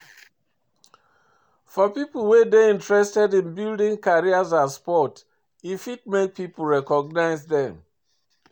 For pipo wey dey interested in building career as sport e fit make pipo recognise them